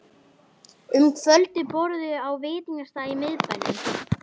Um kvöldið borðuðu þau á veitingastað í miðbænum.